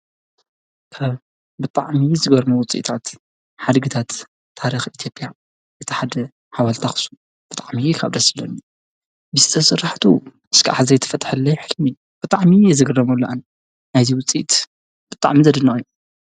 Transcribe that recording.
ካብ ብጣዕሚ ዝገርሙ ውፂኢታት ሓድግታት ታሪኽ ኢቲዮጵያ እቲ ሓደ ሓዋልቲ ኣኽሱም ብጥዕሚ ካብ ደስ ዝብሉኒ ብሥራሕቱ ከዓ ዘይተፈትሐለይ ሕልሚ ብጥዕሚዪ ዝግረመሉ ኣነ ነዙይ ውፂት ብጣዕሚ ዘድንቅ እዩ።